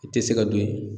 I tɛ se ka don ye